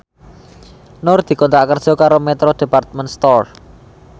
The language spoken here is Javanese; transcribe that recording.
Nur dikontrak kerja karo Metro Department Store